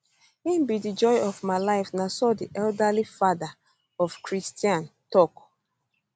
im be di joy of my life na so di elderly father of christian l tok